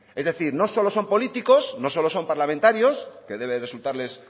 es decir no solo son políticos no solo son parlamentarios que debe resultarles